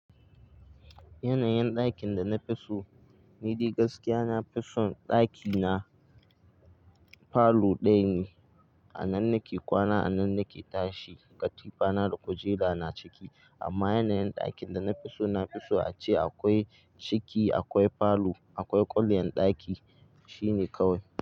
Yanayin ɗakin da na fi so, ni dai gaskiya na fi son ɗaki na, falo ɗaya ne. A nan nake kwana, a nan nake tashi, katifa na da kujera na ciki. Amma yanayin ɗakin da na fi so, na fi so ace akwai ciki, akwai falo, akwai ƙwaryan ɗaki. Shi ne kawai.